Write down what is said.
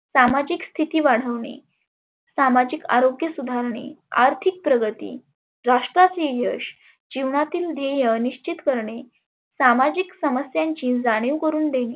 सामाजिक स्थिती वाढवने, सामाजिक आरोग्य सुधारने, आर्थीक प्रगती, राष्ट्राचे यश, जिवनातील ध्येय निश्चीत करने, सामाजिक समस्यांची जानीव करुण देणे,